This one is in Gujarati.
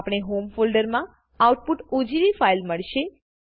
આપણે હોમ ફોલ્ડર માં આઉટપુટ ઓજીવી ફાઇલ મળશે